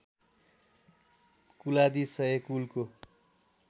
कुलादि सय कुलको